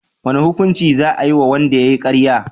wane hukunci za ayi wa wanda yayi karya?